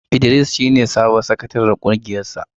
Idris shi ne sabon sakataren ƙungiyar sa.